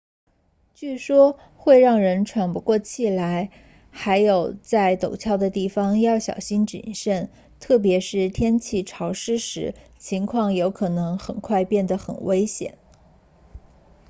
据说会让人喘不过气来还有在陡峭的地方要小心谨慎特别是天气潮湿时情况有可能很快变得很危险